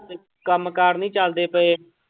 ਕੰਮ ਕਾਰ ਨੀ ਚੱਲਦੇ ਪਏ।